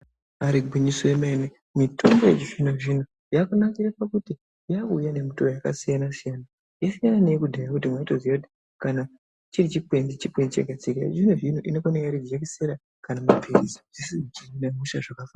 Ibari gwinyiso remene mitombo yechizvino zvino yakanakira pakuti yakuuya ngemuto wakasiyana siyana yasiyana neyekudhaya yekuti waitoziva kuti chiri chikwenzi chikwenzi chega chega yechizvino zvino inouya iri jekiseni kana mapirizi Zveshe zvichihina hosha zvakafana.